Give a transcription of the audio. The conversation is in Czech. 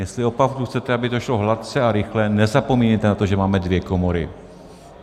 Jestli opravdu chcete, aby to šlo hladce a rychle, nezapomínejte na to, že máme dvě komory.